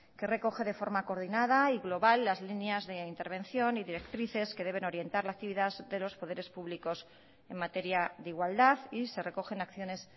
que recoge de forma coordinada y global las líneas de intervención y directrices que deben orientar la actividad de los poderes públicos en materia de igualdad y se recogen acciones